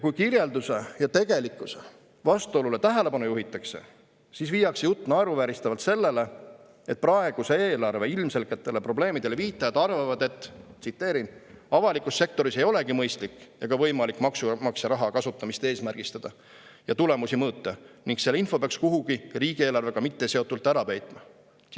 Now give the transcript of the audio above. Kui aga kirjelduse ja tegelikkuse vastuolule tähelepanu juhitakse, siis viiakse jutt naeruvääristavalt sellele, et praeguse eelarve ilmselgetele probleemidele viitajad arvavad nii: " avalikus sektoris ei olegi mõistlik ega võimalik maksumaksja raha kasutamist eesmärgistada ja tulemusi mõõta ning selle info peaks kuhugi riigieelarvega mitteseotult ära peitma.